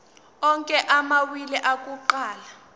onke amawili akuqala